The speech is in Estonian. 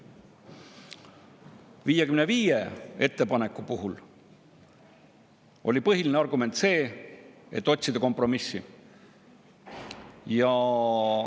55 ettepaneku puhul oli põhiline argument see, et otsitakse kompromissi.